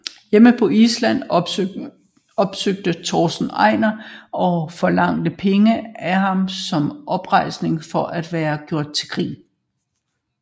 Hjemme på Island opsøgte Torsten Einar og forlangte penge af ham som oprejsning for at være gjort til grin